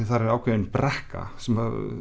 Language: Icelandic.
þar er ákveðin brekka sem